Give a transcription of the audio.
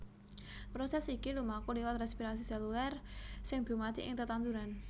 Prosès iki lumaku liwat rèspirasi sélulèr sing dumadi ing tetanduran